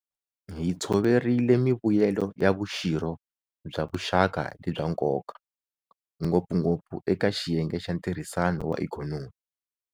Hi tshoverile mivuyelo ya vuxirho bya vuxaka lebya nkoka, ngopfungopfu eka xiyenge xa ntirhisano wa ikhonomi.